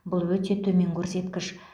бұл өте төмен көрсеткіш